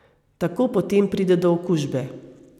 Tako potem pride do okužbe.